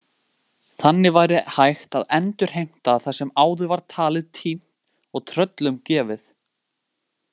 Þannig væri hægt að endurheimta það sem áður var talið týnt og tröllum gefið.